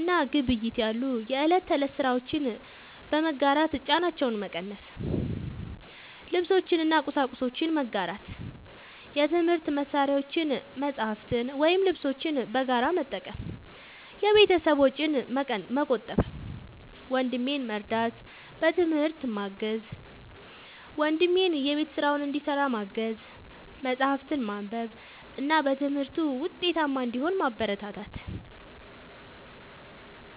እና ግብይት ያሉ የእለት ተእለት ስራዎችን በመጋራት ጫናቸውን መቀነስ። ልብሶችን እና ቁሳቁሶችን መጋራት፦ የትምህርት መሳሪያዎችን፣ መጽሐፍትን ወይም ልብሶችን በጋራ በመጠቀም የቤተሰብን ወጪ መቆጠብ። ወንድሜን መርዳት፦ በትምህርት ማገዝ፦ ወንድሜን የቤት ስራውን እንዲሰራ ማገዝ፣ መጽሐፍትን ማንበብ እና በትምህርቱ ውጤታማ እንዲሆን ማበረታታት።